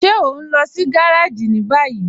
Ṣe o n lọ sí gàràjì ni báyì?